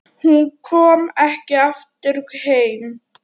Hún kom ekki aftur heim.